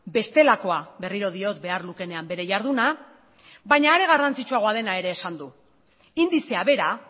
bestelakoa berriro diot behar lukeenean bere jarduna baina are garrantzitsuagoa dena ere esan du indizea bera